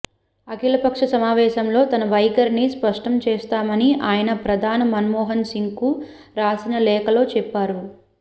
అఖిల పక్ష సమావేశంలో తమ వైఖరిని స్పష్టం చేస్తామని ఆయన ప్రధాని మన్మోహన్ సింగ్కు రాసిన లేఖలో చెప్పారు